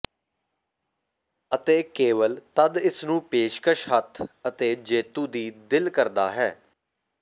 ਅਤੇ ਕੇਵਲ ਤਦ ਇਸ ਨੂੰ ਪੇਸ਼ਕਸ਼ ਹੱਥ ਅਤੇ ਜੇਤੂ ਦੀ ਦਿਲ ਕਰਦਾ ਹੈ